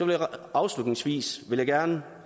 afslutningsvis vil jeg gerne